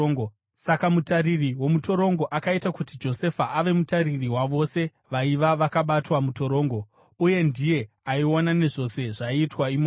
Saka mutariri womutorongo akaita kuti Josefa ave mutariri wavose vaiva vakabatwa mutorongo, uye ndiye aiona nezvose zvaiitwa imomo.